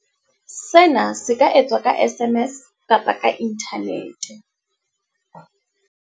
Sena se ka etswa ka SMS kapa ka inthanete.